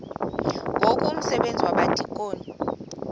ngoku umsebenzi wabadikoni